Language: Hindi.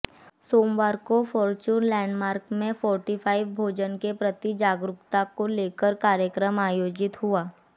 सोमवार को फॉर्च्यून लैंडमार्क में फोर्टिफाइड भोजन के प्रति जागरूकता को लेकर कार्यक्रम आयोजित हुआ